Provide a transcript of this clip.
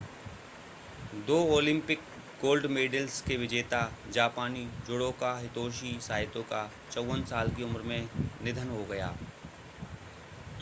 दो Olympic gold medals के विजेता जापानी जुडोका हितोशी साइतो का 54 साल की उम्र में निधन हो गया